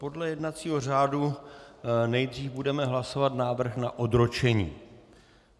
Podle jednacího řádu nejdřív budeme hlasovat návrh na odročení.